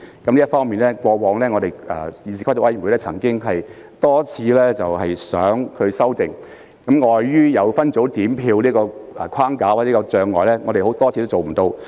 在這方面，議事規則委員會過往曾多次希望作出修訂，但礙於分組點票規定的框架或障礙，多次均無法做到。